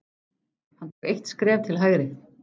Hann tók eitt skref til hægri.